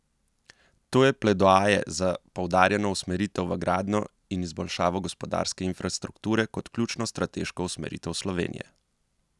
To je pledoaje za poudarjeno usmeritev v gradnjo in izboljšavo gospodarske infrastrukture kot ključno strateško usmeritev Slovenije.